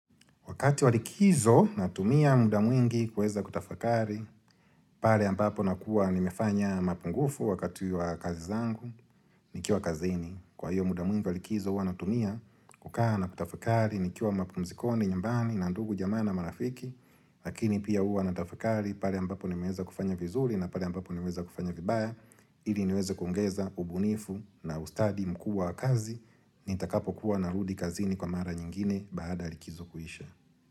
Wakati wa likizo natumia muda mwingi kuweza kutafakari, pale ambapo nakuwa nimefanya mapungufu wakati wa kazi zangu nikiwa kazini. Kwa hiyo muda mwingi wa likizo huwa natumia kukaa na kutafakari, nikiwa mapunzikoni, nyumbani, na ndugu, jamaa na, marafiki, lakini pia huwa natafakari, pale ambapo nimeweza kufanya vizuri na pale ambapo nimeweza kufanya vibaya, ili niweze kungeza ubunifu na ustadi mkuu wa kazi, nitakapokuwa narudi kazini kwa mara nyingine baada ya likizo kuisha.